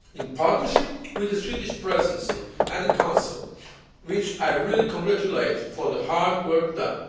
areas in partnership with the Swedish Presidency of the Council, which I really congratulate for the hard work